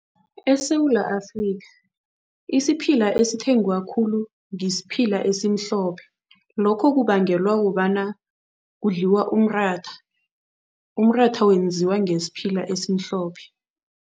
ESewula Afrika isiphila esithengwa khulu ngisiphila esimhlophe, lokho kubangelwa kobana kudliwa umratha. Umratha wenziwa ngesiphila esimhlophe.